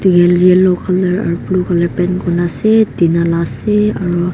yellow colour aro blue colour paint kurina ase tina la ase aro.